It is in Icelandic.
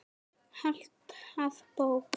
Alltaf bók.